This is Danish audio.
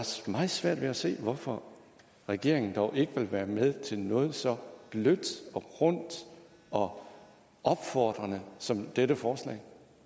meget svært ved at se hvorfor regeringen dog ikke vil være med til noget så blødt og rundt og opfordrende som dette forslag